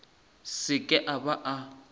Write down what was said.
se ke a ba a